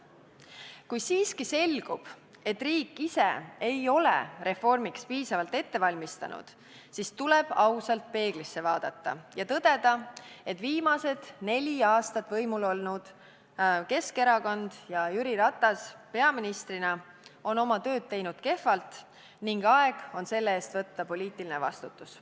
Kui siiski selgub, et riik ise ei ole reformiks piisavalt valmistunud, siis tuleb ausalt peeglisse vaadata ja tõdeda, et viimased neli aastat võimul olnud Keskerakond ja Jüri Ratas peaministrina on oma tööd teinud kehvalt, ning aeg on selle eest võtta poliitiline vastutus.